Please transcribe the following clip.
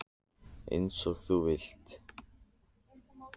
Eins og þú vilt.